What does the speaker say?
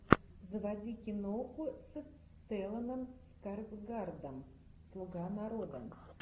заводи киноху с стелланом скарсгардом слуга народа